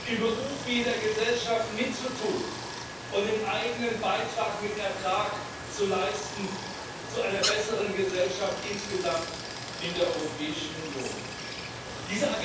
im Beruf wie in der Gesellschaft mitzutun und den eigenen Beitrag mit Ertrag zu einer besseren Gesellschaft insgesamt in der Europäischen Union zu leisten.